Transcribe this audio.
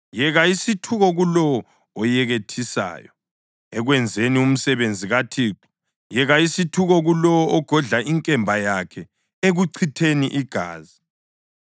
Yeka isithuko kulowo oyekethisayo ekwenzeni umsebenzi kaThixo! Yeka isithuko kulowo ogodla inkemba yakhe ekuchitheni igazi!